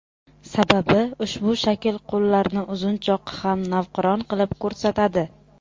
Sababi ushbu shakl qo‘llarni uzunchoq ham navqiron qilib ko‘rsatadi.